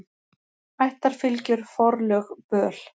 Ættarfylgjur, forlög, böl.